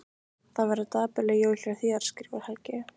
Það verða dapurleg jól hjá þér skrifar Helgi.